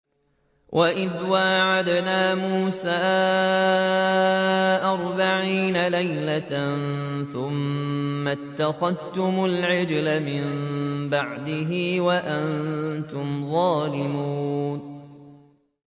وَإِذْ وَاعَدْنَا مُوسَىٰ أَرْبَعِينَ لَيْلَةً ثُمَّ اتَّخَذْتُمُ الْعِجْلَ مِن بَعْدِهِ وَأَنتُمْ ظَالِمُونَ